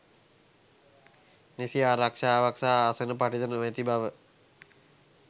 නිසි ආරක්ෂාවක් සහ ආසන පටි ද නොමැති බව